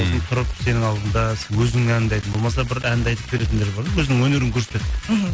сосын тұрып сенің алдында өзінің әніңді айтып болмаса бір әнді айтып беретіндер бар өзінің өнерін көрсетеді мхм